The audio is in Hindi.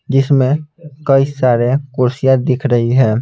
जिसमें कई सारे कुर्सियां दिख रही है।